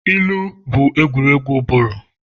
ilu bụ egwuregwu ụbụrụ